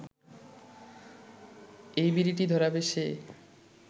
এই বিড়িটি ধরাবে সে